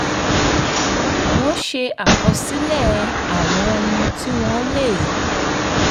wọ́n ṣe àkọsílẹ̀ àwọn ohun tí wọ́n lè